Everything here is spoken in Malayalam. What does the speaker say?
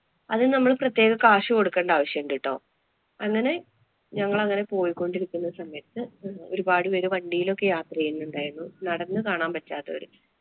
അത് നമ്മള് പ്രത്യേക കാശ് കൊടുക്കേണ്ട ആവശ്യം ഉണ്ട് ട്ടോ. അങ്ങനെ ഞങ്ങളങ്ങനെ പോയിക്കൊണ്ടിരിക്കുന്ന സമയത്ത് ഒരുപാടു പേര് വണ്ടിയിലോക്കെ യാത്ര ചെയ്യുന്നുണ്ടായിരുന്നു. നടന്നു കാണാന്‍ പറ്റാത്തവര്